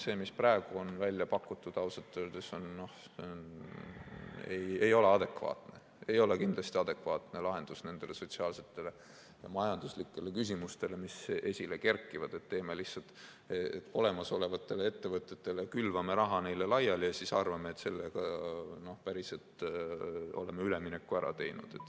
See, mis praegu on välja pakutud, ausalt öeldes ei ole kindlasti adekvaatne lahendus nendele sotsiaalsetele ja majanduslikele küsimustele, mis esile kerkivad, et lihtsalt olemasolevatele ettevõtetele külvame raha laiali ja siis arvame, et sellega päriselt oleme ülemineku ära teinud.